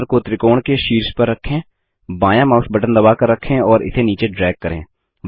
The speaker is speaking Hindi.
फिर कर्सर को त्रिकोण के शीर्ष पर रखें बायाँ माउस बटन दबाकर रखें और इसे नीचे ड्रैग करें